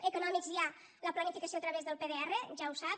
d’econòmics hi ha la planificació a través del pdr ja ho sap